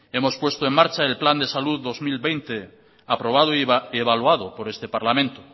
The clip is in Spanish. hemos puesta en marcha el plan de salud dos mil veinte aprobado y evaluado por este parlamento